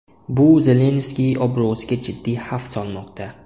Bu Zelenskiy obro‘siga jiddiy xavf solmoqda.